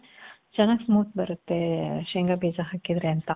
ಚನಾಗ್ smooth ಬರತ್ತೇ, ಶೇಂಗ ಬೀಜ ಹಾಕಿದ್ರೆ ಅಂತ.